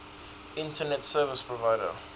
internet service provider